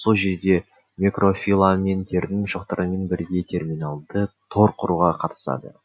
сол жерде микрофиламенттердің шоқтарымен бірге терминальды тор құруға қатысады